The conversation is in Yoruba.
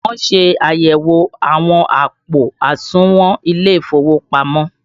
Wọn ṣe àyẹ̀wò àwọn àpò àsùnwọ̀n ilé ìfowópamọ́